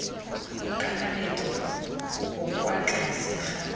kakaretso bo kwa tlase ga